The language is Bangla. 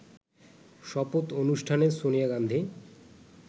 শপথ অনুষ্ঠানে সোনিয়া গান্ধী